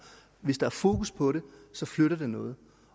hvis der er fokus på det så flytter det noget